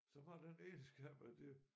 Som har den egenskab at det